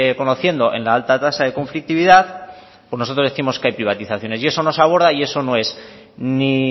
conociendo en la alta tasa de conflictividad pues nosotros décimos que hay privatizaciones y eso nos aborda y no es ni